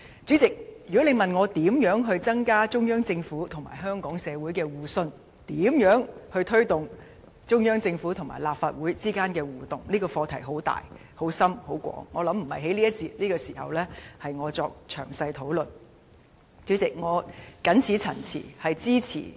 主席，如果你問我該如何增加中央政府與香港社會的互信，以及該如何推動中央政府與立法會之間的互動，由於這項課題涉及範疇很大、很深及很廣，我相信並非我在這一節或此時能詳細討論。